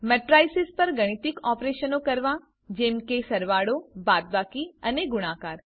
matrices પર ગાણિતિક ઓપરેશનો કરવા જેમ કે સરવાળો બાદબાકી અને ગુણાકાર